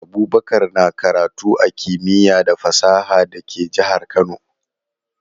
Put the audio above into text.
Abubakar na karatu a Kimiya da fasaha da ke jahar Kano